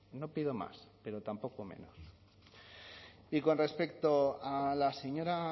no pido más pero tampoco menos y con respecto a la señora